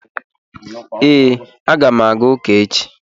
Ee, aga m aga ụka echi